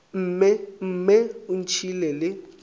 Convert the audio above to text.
mme mme o ntšhiile le